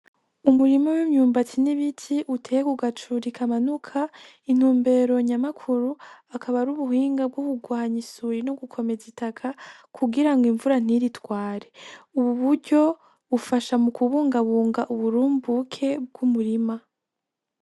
Umurima w'imyumbati ,nibiti uteye kugacuri kamanuka intumbero nyamukuru akaba ari ubuhinga bgokugwanya isuri nugukomeza itaka kugira ngo imvura ntiritware, ubu bufasha mu kubungabunga uburumbuke bg'umurima .